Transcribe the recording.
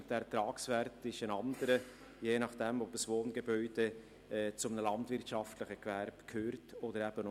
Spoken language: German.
Und dieser Ertragswert ist je nachdem, ob ein Wohngebäude zu einem landwirtschaftlichen Gewerbe gehört oder nicht, ein anderer.